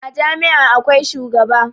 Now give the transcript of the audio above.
A Jami' a akwai shugaba